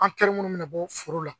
An minnu bɛna bɔ forow la